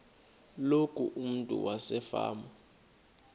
loku umntu wasefama